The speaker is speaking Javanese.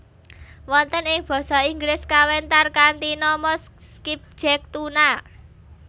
Wonten ing Basa Inggris kawentar kanthi nama skipjack tuna